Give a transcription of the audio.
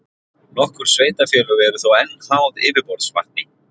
Nokkur sveitarfélög eru þó enn háð yfirborðsvatni.